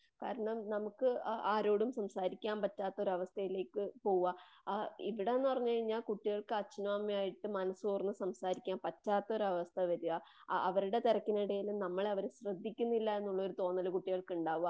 കാരണം നമുക്ക് ആരോടും സംസാരിക്കാൻ പറ്റാത്ത ഒരവസ്ഥയിലേക്ക് പോവുക. ഇവിടന്നു പറഞ്ഞു കഴിഞ്ഞാല് ആ കുട്ടികൾക്ക് അച്ഛനും അമ്മയുമായിട്ട് മനസ്സ് തുറന്നു സംസാരിക്കാൻ പറ്റാത്ത ഒരവസ്ഥ വരുക. അവരുടെ തിരക്കിനിടയിലും നമ്മളെ അവര് ശ്രദിക്കുന്നില്ലാനുള്ളാര്‌ തോന്നല് കുട്ടികൾക്കുണ്ടാവുക.